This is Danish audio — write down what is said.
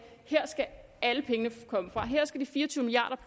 her skal alle pengene komme fra her skal de fire og tyve milliard